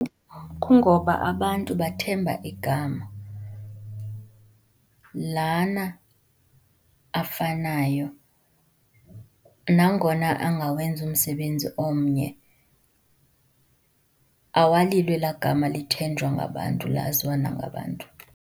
Kungoba abantu bathemba igama. Lana afanayo, nangona engawenzi umsebenzi omnye awalilo elaa gama lithenjwa ngabantu, laziwa nangabantu.